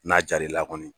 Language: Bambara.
N'a jar'i la kɔni